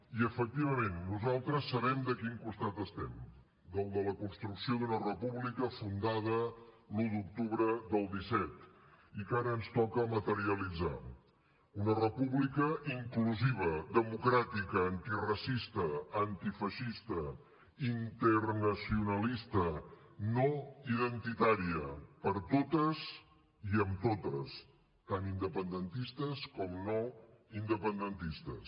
i efectivament nosaltres sabem de quin costat estem del de la construcció d’una república fundada l’un d’octubre del disset i que ara ens toca materialitzar una república inclusiva democràtica antiracista antifeixista internacionalista no identitària per a totes i amb totes tant independentistes com no independentistes